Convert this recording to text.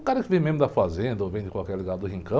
O cara que vem mesmo da fazenda ou vem de qualquer lugar do rincão...